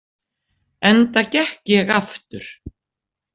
Enda gekk ég aftur.